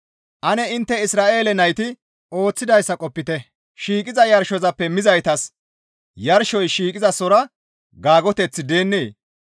Ane intte Isra7eele nayti ooththidayssa qopite; shiiqiza yarshozappe mizaytas yarshoy shiiqizasora gaagoteththi deennee?